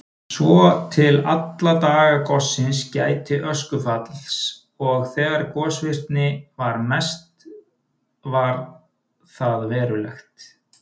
Svo til alla daga gossins gæti öskufalls og þegar gosvirknin var mest var það verulegt.